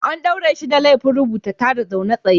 An ɗaure shi da laifin rubuta tada zaune tsaye.